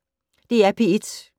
DR P1